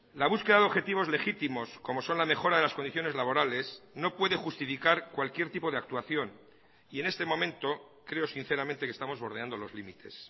la búsqueda de objetivos legítimos como son la mejora de las condiciones laborales no puede justificar cualquier tipo de actuación y en este momento creo sinceramente que estamos bordeando los límites